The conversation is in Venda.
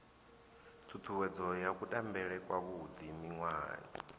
ṱhuṱhuwedzo ya kutambele kwavhuḓi miṅwahani